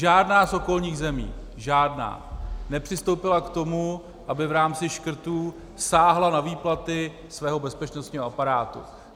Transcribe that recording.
Žádná z okolních zemí, žádná, nepřistoupila k tomu, aby v rámci škrtů sáhla na výplaty svého bezpečnostního aparátu.